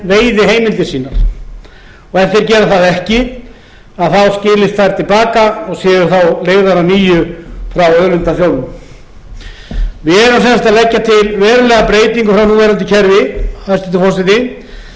og ef þeir gera það ekki skilist þær til baka og séu þá leigðar að nýju frá auðlindasjóðnum við erum sem sagt að leggja til verulega breytingu frá núverandi kerfi hæstvirtur forseti því að við erum